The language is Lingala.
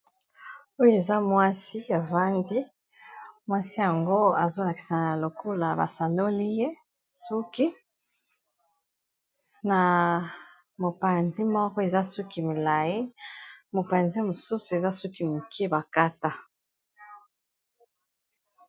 Oyo eza mwasi ya avandi mwasi yango azolakisa na lokula basanoliye suki na mopanzi moko eza suki milayi mopanzi mosusu eza suki moke bakata.